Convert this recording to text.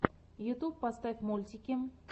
ютьюб поставь мультики